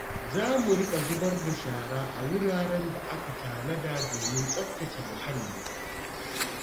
Za mu riƙa zubar da shara a wuraren da aka tanada domin tsaftace muhalli.